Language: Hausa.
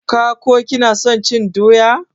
ka / ki na son cin doya?